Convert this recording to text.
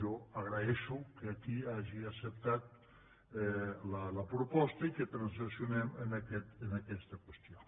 jo agraeixo que aquí hagi acceptat la proposta i que transaccionem en aquesta qüestió